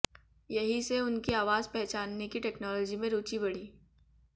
यहीं से उनकी आवाज पहचानने की टेक्नोलॉजी में रुचि बढ़ी